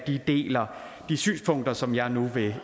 de deler de synspunkter som jeg nu vil